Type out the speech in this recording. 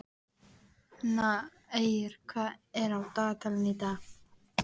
Eir, hvað er á dagatalinu í dag?